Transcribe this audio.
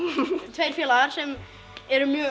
tveir félagar sem erum mjög